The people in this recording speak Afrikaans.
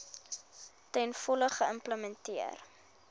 ten volle geïmplementeer